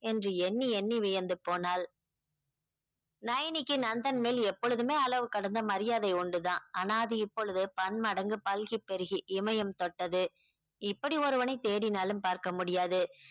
என்று எண்ணி எண்ணி வியந்து போனாள் நயனிக்கு நந்தன் மேல் எப்பொழுதுமே அளவுக்கடந்த மரியாதை உண்டுதான் ஆனா அது இப்பொழுது பன்மடங்கு பல்கிப் பெருகி இமயம் தொட்டது இப்படி ஒருவனை தேடினாலும் பார்க்க முடியாது